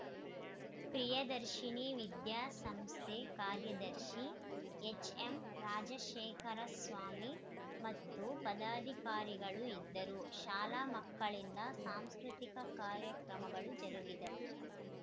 ಪ್ರಿಯದರ್ಶಿನಿ ವಿದ್ಯಾಸಂಸ್ಥೆ ಕಾರ್ಯದರ್ಶಿ ಎಚ್‌ಎಂರಾಜಶೇಖರಸ್ವಾಮಿ ಮತ್ತು ಪದಾಧಿಕಾರಿಗಳು ಇದ್ದರು ಶಾಲಾ ಮಕ್ಕಳಿಂದ ಸಾಂಸ್ಕೃತಿಕ ಕಾರ್ಯಕ್ರಮಗಳು ಜರುಗಿದವು